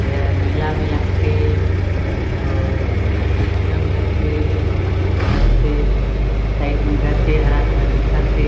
एहर मेंला में लगथे और मेला में लगथे नाटक में लगथे साइड में गछ हे हरा-हरा दिखत हे।